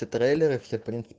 трейлеры